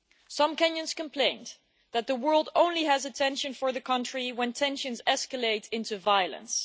Some Kenyans complained that the world only has attention for the country when tensions escalate into violence.